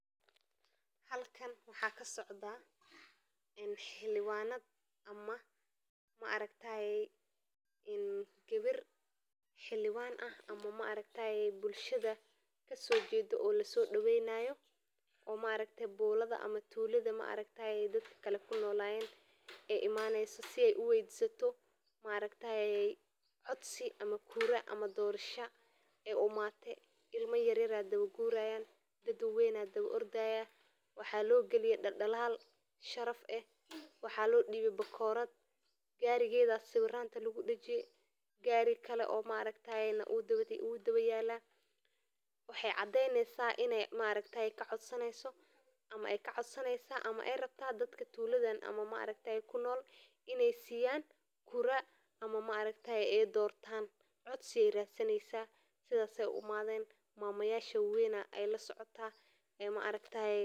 Dhoorasho waa mid ka mid ah qaababka ugu muhiimsan ee bulshada Soomaaliyeed oo ay ku wada nool yihiin qoysaska, waxaana lagu aqoonsan yahay inay tahay xidhiidh diimeed iyo dhaqan ahaanba loo adeegsado si ay u dhisaan nolol wanaagsan oo ay ku barbaaraan carruurta, waxayna noqon kartaa mid naxariis iyo isfahamad ku dhisan marka labada qof ee is qaban ay isku fahmaan qiyamka iyo mabaadi’da ay wadaagaan, sidoo kale dhoorashadu waxay leedahay saamayn weyn oo ay ku leedahay xiriirka qoyska iyo asxaabta.